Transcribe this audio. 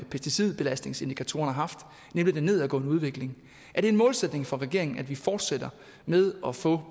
pesticidbelastningsindikatoren har haft nemlig en nedadgående udvikling er det en målsætning for regeringen at vi fortsætter med at få